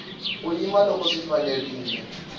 u yima loko swi fanerile